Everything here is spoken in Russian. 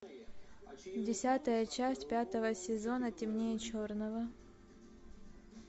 десятая часть пятого сезона темнее черного